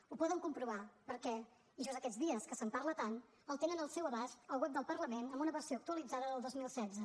ho poden comprovar perquè just aquests dies que se’n parla tant el tenen al seu abast al web del parlament en una versió actualitzada del dos mil setze